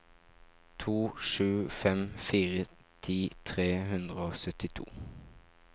to sju fem fire ti tre hundre og syttito